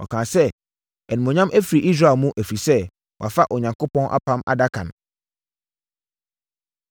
Ɔkaa sɛ, “Animuonyam afiri Israel mu, ɛfiri sɛ, wɔafa Onyankopɔn Apam Adaka no.”